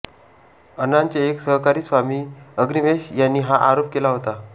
अण्णांचे एक सहकारी स्वामी अग्निवेश यांनी हा आरोप केला होता